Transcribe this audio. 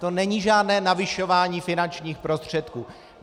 To není žádné navyšování finančních prostředků.